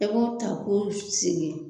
E b'o ta k'o sigi